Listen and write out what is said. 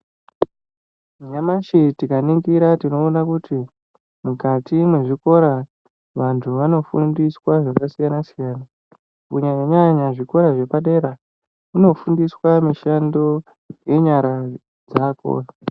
Nyamashi tikaningira tinoona kuti mukati mwezvikora vantu vanofundiswa zvakasiyana siyana kunyanya nyanya zvikora zvepadera kunofundiswa mishando yenyara dzako.